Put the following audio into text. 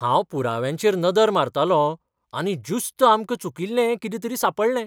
हांव पुराव्यांचेर नदर मारतालों आनी ज्युस्त आमकां चुकील्लें कितें तरी सांपडलें.